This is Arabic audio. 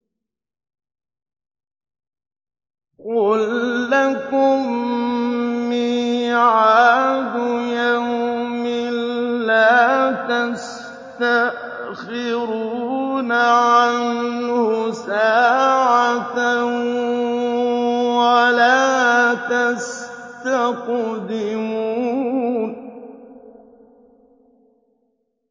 قُل لَّكُم مِّيعَادُ يَوْمٍ لَّا تَسْتَأْخِرُونَ عَنْهُ سَاعَةً وَلَا تَسْتَقْدِمُونَ